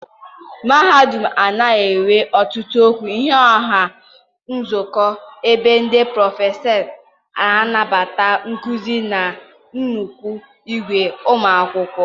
mahadum a na-enwe otutu okwu ihu ọha Ụlọ Nzukọ ebe ndị prọfesọ na-anapụta nkuzi na nnukwu ìgwè ụmụ akwụkwọ.